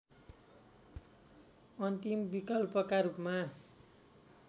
अन्तिम विकल्पका रूपमा